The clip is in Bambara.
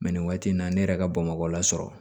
nin waati in na ne yɛrɛ ka bamakɔ la sɔrɔ